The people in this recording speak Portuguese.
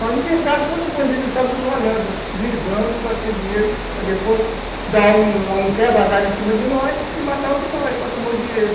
Mas ninguém sabe quantos bandidos estão nos olhando, visando nós ter dinheiro para depois dar um um quebra-galho em cima de nós e matar um de nós para tomar o dinheiro.